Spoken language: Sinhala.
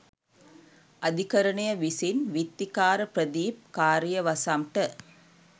අධිකරණය විසින් විත්තිකාර ප්‍රදීප් කාරියවසම් ට